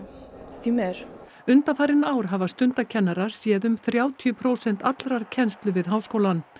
því miður undanfarin ár hafa stundakennarar séð um þrjátíu prósent allrar kennslu við háskólann